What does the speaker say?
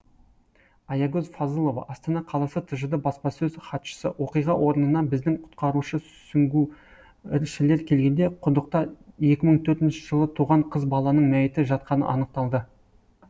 аягөз фазылова астана қаласы тжд баспасөз хатшысы оқиға орнына біздің құтқарушы сүңгуіршілер келгенде құдықта екі мың төртінші жылы туған қыз баланың мәйіті жатқаны анықталды